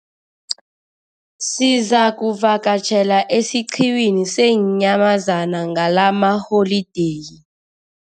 Sizakuvakatjhela esiqhiwini seenyamazana ngalamaholideyi.